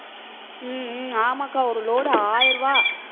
உம் உம் ஆமாக்கா ஒரு load ஆயிரம் ரூபாய்.